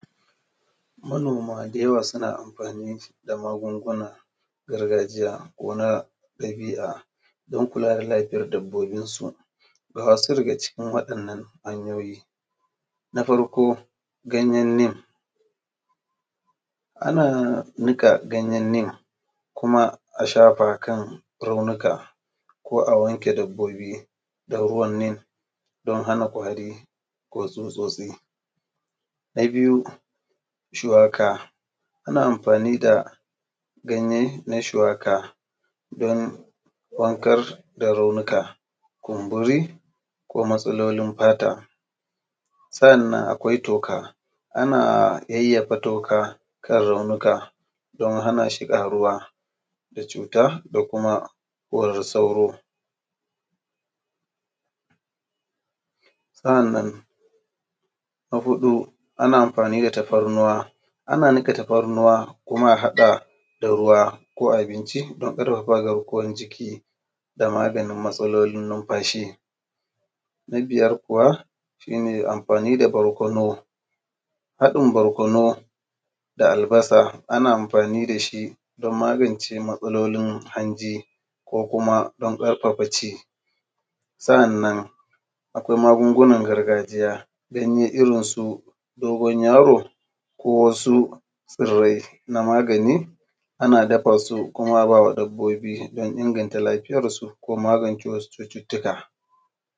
Manoma da yawa suna amfani da magungunan gargajiya ko kuma na ɗabi’a don kula da dabbobinsu. Ga wasu daga cikin wa’innan hanyoyi. Na farko ganyen nim, ana nika ganyen nim kuma a shafa akan raunuka ko wanke dabbobi da ruwan nim, don hana ƙwari ko tsutsotsi. Na biyu shuwaka, ana amfani da ganye na shuwaka don warkar da raunuka, kumburi ko matsalolin fata. Sannan akwai toka, ana yayyafa toka kan raunku don hana shi ƙaruwa da cuta da kuma korar sauro. Sa’annan na huɗu ana amfani da tafarnuwa, ana nika tafarnuwa kuma a haɗa da ruwa ko abinci don ƙarfafa garkuwan jiki da maganin matsalolin numfashi. Na biyar kuwa shi ne amfani da barkono, haɗin barkono da albasa ana amfani dashi don magance matsalolin hanji, ko kuma don ƙarfafa ci. Sa’annan akwai magungunan gargajiya, ganye irin su dogon yaro ko wasu tsirai na magani ana dafasu kuma abawa dabbobi don inganta lafiyansu ko wasu cututuka.